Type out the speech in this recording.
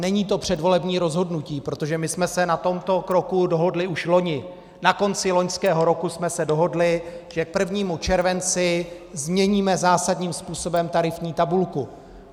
Není to předvolební rozhodnutí, protože my jsme se na tomto kroku dohodli už loni, na konci loňského roku jsme se dohodli, že k 1. červenci změníme zásadním způsobem tarifní tabulku.